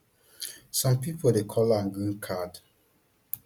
some pipo dey call am green card